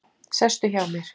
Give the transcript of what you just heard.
Sestu hjá mér.